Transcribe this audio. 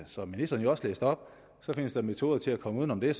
som ministeren også læste op findes der metoder til at komme uden om det